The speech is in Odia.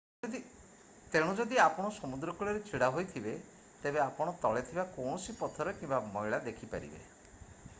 ତେଣୁ ଯଦି ଆପଣ ସମୁଦ୍ର କୂଳରେ ଛିଡା ହୋଇଥିବେ ତେବେ ଆପଣ ତଳେ ଥିବା କୌଣସି ପଥର କିମ୍ବା ମଇଳା ଦେଖିପାରିବେ